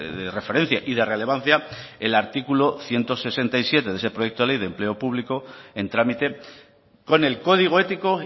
de referencia y de relevancia el artículo ciento sesenta y siete de ese proyecto de ley de empleo público en trámite con el código ético